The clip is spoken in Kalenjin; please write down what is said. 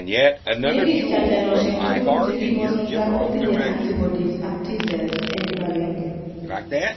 Negit chajanoshek tugul chekikosulda kotinye antibodies ak T_cell eng kibagenge.